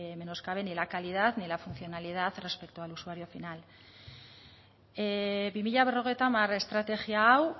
menoscaben ni la calidad ni la funcionalidad respecto al usuario final bi mila berrogeita hamar estrategia hau